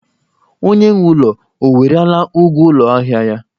Onye nwe ụlọ o werela ụgwọ ụlọ ahịa ya?